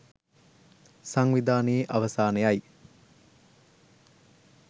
සංවිධානයේ අවසානයයි